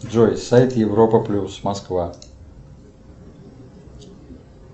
джой сайт европа плюс москва